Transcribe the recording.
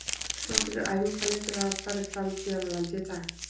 Nokkrir æfingaleikir hafa farið fram hér á landi í dag.